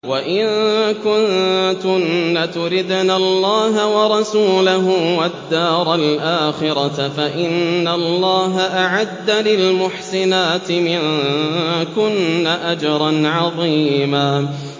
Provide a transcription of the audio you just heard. وَإِن كُنتُنَّ تُرِدْنَ اللَّهَ وَرَسُولَهُ وَالدَّارَ الْآخِرَةَ فَإِنَّ اللَّهَ أَعَدَّ لِلْمُحْسِنَاتِ مِنكُنَّ أَجْرًا عَظِيمًا